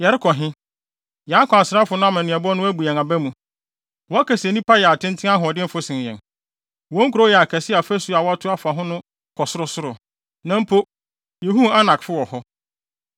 Yɛrekɔ he? Yɛn akwansrafo no amanneɛbɔ no abu yɛn aba mu. ‘Wɔka se nnipa yɛ atenten ahoɔdenfo sen yɛn. Wɔn nkurow yɛ akɛse a afasu a wɔatoto afa ho no kɔ sorosoro. Na mpo, yehuu Anakfo wɔ hɔ!’ ”